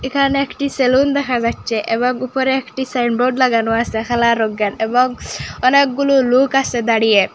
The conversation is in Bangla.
এখানে একটি সেলুন দেখা যাইচ্চে এবং উপরে একটি সাইনবোর্ড লাগানো আসে খালা রঙের এবং অনেকগুলো লুক আসে দাঁড়িয়ে।